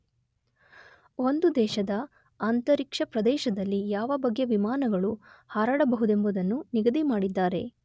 ಒಂದು ದೇಶದ ಅಂತರಿಕ್ಷ ಪ್ರದೇಶದಲ್ಲಿ ಯಾವ ಬಗೆಯ ವಿಮಾನಗಳು ಹಾರಾಡಬಹುದೆಂಬುದನ್ನು ನಿಗದಿ ಮಾಡಿದ್ದಾರೆ.